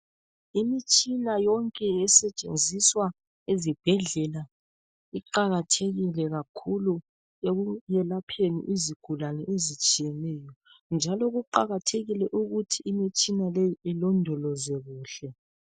Imitshina yonke esetshenziswa ezibhedlela iqakathekile kakhulu ekwelapheni izigulane ezitshiyeneyo njalo kuqakathekile ukuthi imitshina leyi ilondolozwe kuhle